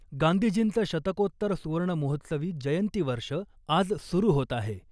गांधीजींचं शतकोत्तर सुवर्णमहोत्सवी जयंती वर्ष आज सुरु होत आहे .